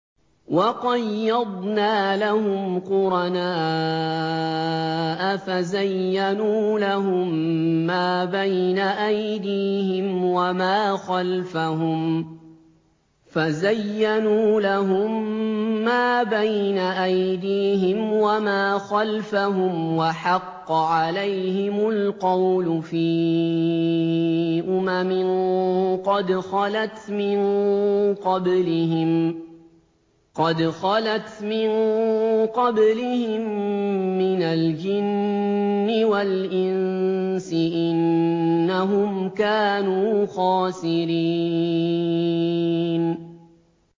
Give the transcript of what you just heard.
۞ وَقَيَّضْنَا لَهُمْ قُرَنَاءَ فَزَيَّنُوا لَهُم مَّا بَيْنَ أَيْدِيهِمْ وَمَا خَلْفَهُمْ وَحَقَّ عَلَيْهِمُ الْقَوْلُ فِي أُمَمٍ قَدْ خَلَتْ مِن قَبْلِهِم مِّنَ الْجِنِّ وَالْإِنسِ ۖ إِنَّهُمْ كَانُوا خَاسِرِينَ